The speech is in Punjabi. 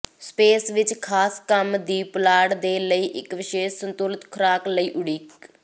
ਸਪੇਸ ਵਿੱਚ ਖਾਸ ਕੰਮ ਦੀ ਪੁਲਾੜ ਦੇ ਲਈ ਇੱਕ ਵਿਸ਼ੇਸ਼ ਸੰਤੁਲਿਤ ਖੁਰਾਕ ਲਈ ਉਡੀਕ